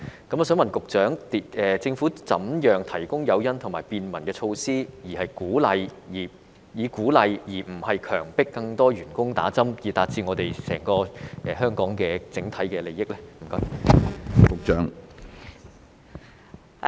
我想問局長，政府如何提供誘因及便民措施，以鼓勵而非強迫更多員工打針，以達致我們整個香港的整體利益？